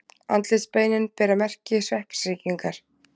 Andlitsbeinin bera merki sveppasýkingar.